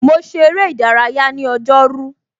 Mo ṣe ère ìdárayá ní ọjọ́ rú.